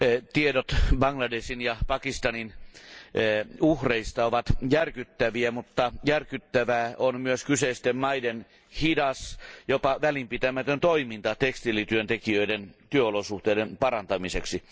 Tiedot Bangladeshin ja Pakistanin uhreista ovat järkyttäviä, mutta järkyttävää on myös kyseisten maiden hidas, jopa välinpitämätön toiminta tekstiilityöntekijöiden työolosuhteiden parantamiseksi.